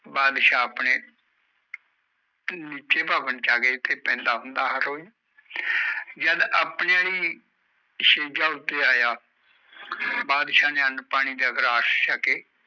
ਬੰਦਸ਼ ਆਪਣੇ ਨੀਚੇ ਪਾਵਣਾ ਉਤੇ ਜਿਥੇ ਪੈਂਦਾ ਹੁੰਦਾ ਹਰ ਰੋਜ ਜਦ ਆਪਣੇ ਅਲੀ ਸਟੇਜ ਉਤੇ ਆਯਾ